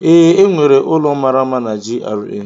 Ee, enwere ụlọ mara mma na GRA.